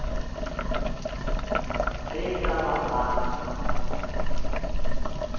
ge e ka ba ga